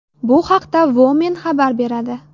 Bu haqda Woman xabar beradi .